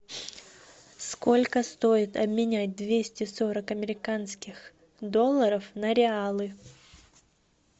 сколько стоит обменять двести сорок американских долларов на реалы